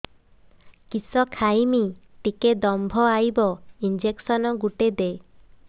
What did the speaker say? କିସ ଖାଇମି ଟିକେ ଦମ୍ଭ ଆଇବ ଇଞ୍ଜେକସନ ଗୁଟେ ଦେ